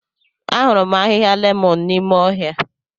Ahụrụ m ahịhịa lemon n'ime ọhịa.